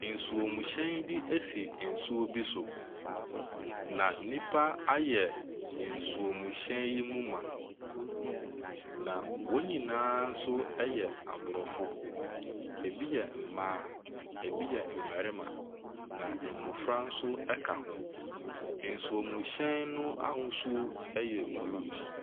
Nsuomhyɛn bi si nsuo bi so, na nnipa ayɛ nsuomhyɛn yi mu ma, na wɔn nyinaa nso yɛ Aborɔfo. Ɛbi yɛ mmaa, ɛbi yɛ mmarima, na mmɔfra nso ka ho. Nsuomhyɛn no ahosuo yɛ blue.